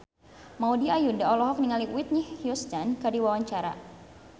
Maudy Ayunda olohok ningali Whitney Houston keur diwawancara